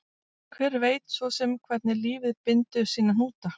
Hver veit svo sem hvernig lífið bindur sína hnúta